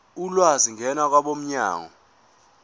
ulwazi ngena kwabomnyango